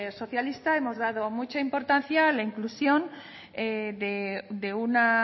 socialista hemos dado mucha importancia a la inclusión de una